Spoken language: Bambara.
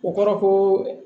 O kɔrɔ ko